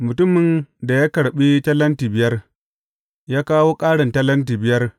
Mutumin da ya karɓi talenti biyar, ya kawo ƙarin talenti biyar.